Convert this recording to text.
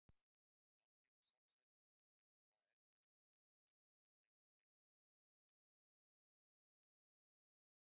Langlífu samsæturnar eru hvað erfiðastar viðfangs er menn leita leiða til að koma kjarnorkuúrgangi fyrir.